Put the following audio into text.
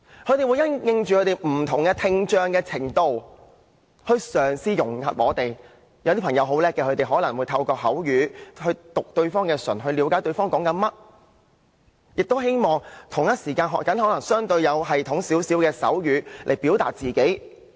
他們會因應本身不同聽障程度來嘗試融入社會，有些朋友很聰明，他們可能透過口語，讀對方的嘴唇，以了解對方在說甚麼，亦同時學習相對有系統的手語來表達自己。